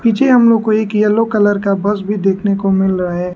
पीछे हम लोग को एक येलो कलर का बस भी देखने को मिल रहा है।